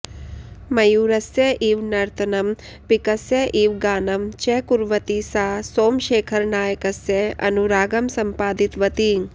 मयूरस्य इव नर्तनं पिकस्य इव गानं च कुर्वती सा सोमशेखरनायकस्य अनुरागं सम्पादितवती